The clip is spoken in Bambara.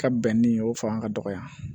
Ka bɛn ni o fanga ka dɔgɔya